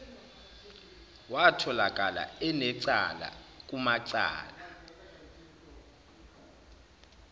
watholakala enecala kumacala